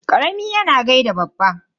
Karami yana gaida babba.